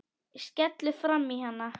Skellur framan í hann.